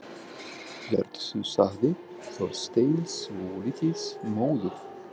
Já, þetta ert þú sagði Þorsteinn, svolítið móður.